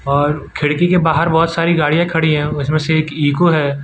और खिड़की के बाहर बहोत सारी गाड़ियां खड़ी है उसमें से एक ईको है।